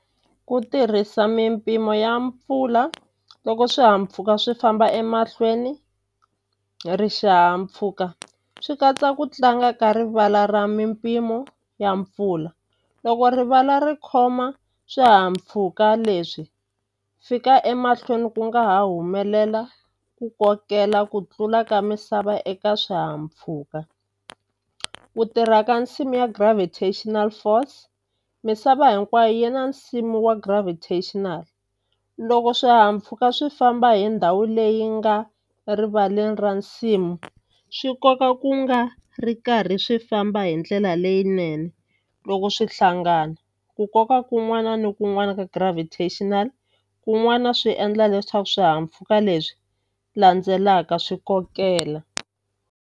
Ku tirhisa mimpimo ya mpfula loko swihahampfhuka swi famba emahlweni hi ri xihahampfhuka swi katsa ku tlanga ka rivala ra mimpimo ya mpfula loko rivala ri khoma swihahampfhuka leswi fika emahlweni ku nga humelela ku kokela ku tlula ka misava eka swihahampfhuka ku tirha ka nsimu ya gravatational force misava hinkwayo yi na nsimu wa gravational loko swihahampfhuka swi famba hi ndhawu leyi nga rivaleni ra nsimu swi koka ku nga ri karhi swi famba hindlela leyinene loko swi hlangana ku koka kun'wana ni kun'wana ka gravational kun'wana swi endla leswaku swihahampfhuka leswi landzelaka swi kokela.